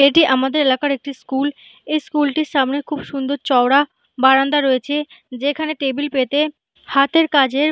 এটি আমাদের এলাকার একটি স্কুল এই স্কুলটির সামনে খুব সুন্দর চওড়া বারান্দা রয়েছে যেখানে টেবিল পেতে হাতের কাজের --